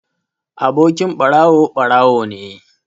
Abokin ɓarawo, ɓarawo ne.